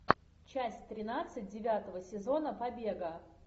часть тринадцать девятого сезона побега